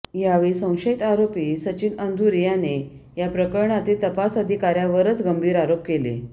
यावेळी संशयित आरोपी सचिन अंदुरे याने या प्रकरणातील तपास अधिकार्यावरच गंभीर आरोप केले